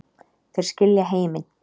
Þeir skilja heiminn